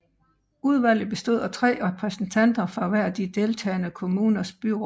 Udvalget bestod af tre repræsentanter fra hver af de deltagenede kommuners byråd